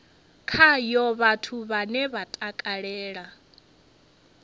khayo vhathu vhane vha takalela